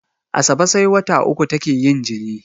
Asabe sai wata uku take yin jini